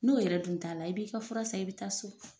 N'o yɛrɛ dun t'a la, i b'i ka fura san, i bɛ taa so!